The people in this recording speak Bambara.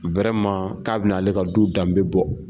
k'a bɛ na ale ka du danbebɔ.